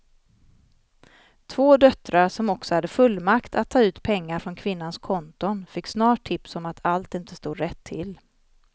Två döttrar som också hade fullmakt att ta ut pengar från kvinnans konton fick snart tips om att allt inte stod rätt till.